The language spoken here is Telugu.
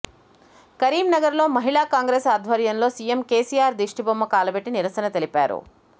కరీంనగర్ లో మహిళా కాంగ్రెస్ ఆధ్వర్యంలో సిఎం కేసిఆర్ దిష్టిబొమ్మ కాలబెట్టి నిరసన తెలిపారు